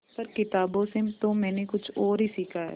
पर किताबों से तो मैंने कुछ और ही सीखा है